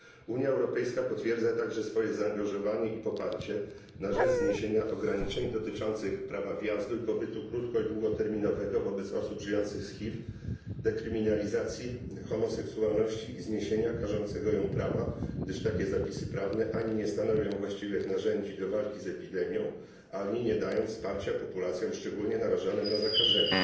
Unia Europejska potwierdza także swoje zaangażowanie i poparcie na rzecz zniesienia ograniczeń dotyczących prawa wjazdu i pobytu krótko i długoterminowego wobec osób żyjących z HIV, dekryminalizacji homoseksualności i zniesienia każącego ją prawa, gdyż takie zapisy prawne ani nie stanowią właściwych narzędzi do walki z epidemią, ani nie dają wsparcia populacjom szczególnie narażonym na zakażenie.